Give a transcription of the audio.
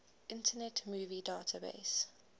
internet movie database